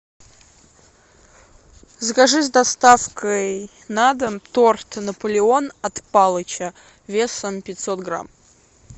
закажи с доставкой на дом торт наполеон от палыча весом пятьсот грамм